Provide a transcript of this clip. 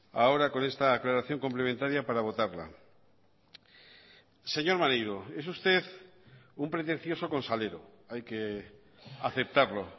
ahora con esta aclaración complementaria para votarla señor maneiro es usted un pretencioso con salero hay que aceptarlo